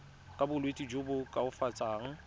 ka bolwetsi jo bo koafatsang